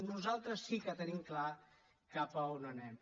nosaltres sí que tenim clar cap a on anem